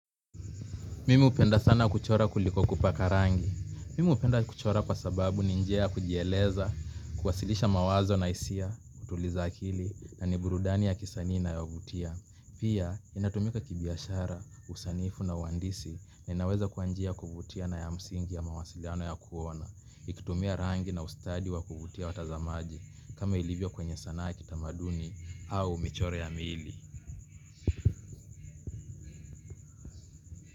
Mimi hupenda sana kuchora kuliko kupaka rangi. Mimu hupenda kuchora kwa sababu ni njia ya kujieleza, kuwasilisha mawazo na hisia, kutuliza akili, na ni burudani ya kisani inayovutia. Pia, inatumika kibiashara, usanifu na uhandisi na inaweza kuwa njia ya kuvutia na ya msingi ya mawasiliano ya kuona. Ikitumia rangi na ustadi wa kuvutia watazamaji, kama ilivyo kwenye sanaa kitamaduni au michoro ya miili.